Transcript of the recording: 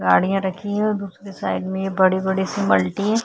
गाड़िया रखी हुई है दुसरी साइड मे ये बड़ी बड़ी सी मल्टी --